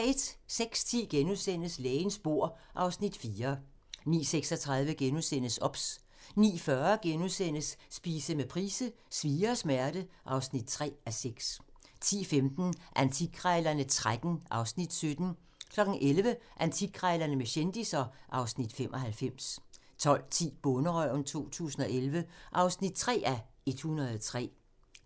06:10: Lægens bord (Afs. 4)* 09:36: OBS * 09:40: Spise med Price: "Svie og smerte" (3:6)* 10:15: Antikkrejlerne XIII (Afs. 17) 11:00: Antikkrejlerne med kendisser (Afs. 95) 12:10: Bonderøven 2011 (3:103)